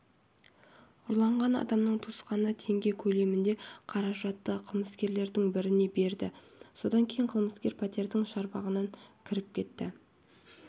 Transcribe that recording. ұрланған адамның туысқаны теңге көлемінде қаражатты қылмыскерлердің біріне берді содан кейін қылмыскер пәтердің шарбағына кіріп кетті